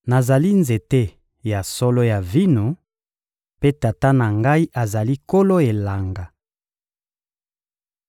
Nazali nzete ya solo ya vino, mpe Tata na Ngai azali nkolo elanga.